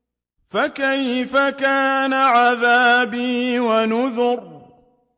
فَكَيْفَ كَانَ عَذَابِي وَنُذُرِ